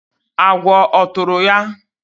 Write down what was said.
agwọ ọ tụrụ ya?